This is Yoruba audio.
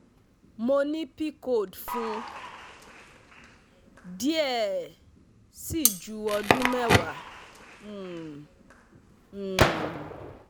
Mo ni pcod fun diẹ ẹ sii ju odun mewa um um